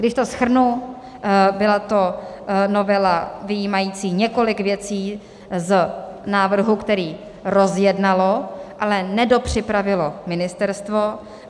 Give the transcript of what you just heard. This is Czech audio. Když to shrnu, byla to novela vyjímající několik věcí z návrhu, který rozjednalo, ale nedopřipravilo ministerstvo.